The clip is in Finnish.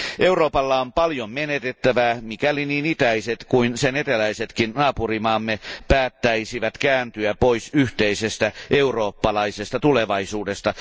Euroopalla on paljon menetettävää, mikäli niin itäiset kuin eteläisetkin naapurimaat päättäisivät kääntyä pois yhteisestä eurooppalaisesta tulevaisuudesta.